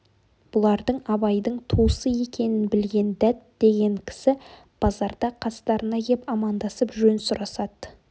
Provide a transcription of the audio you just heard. бұлардың абайдың туысы екенін білген дәт деген кісі базарда қастарына кеп амандасып жөн сұрасады